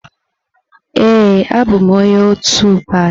Ee, abụm onye otu pati.